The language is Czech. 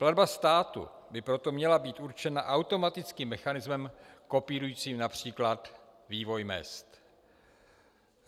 Platba státu by proto měla být určena automatickým mechanismem kopírujícím například vývoj mezd.